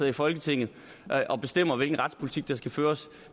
i folketinget og bestemmer hvilken retspolitik der skal føres